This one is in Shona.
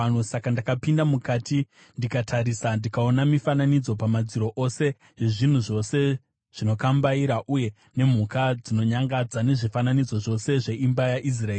Saka ndakapinda mukati ndikatarisa, ndikaona mifananidzo pamadziro ose yezvinhu zvose zvinokambaira uye nemhuka dzinonyangadza nezvifananidzo zvose zveimba yaIsraeri.